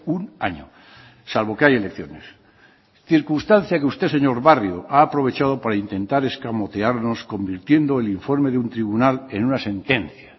un año salvo que hay elecciones circunstancia que usted señor barrio ha aprovechado para intentar escamotearnos convirtiendo el informe de un tribunal en una sentencia